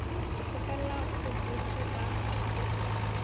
ke kgopela go botši ka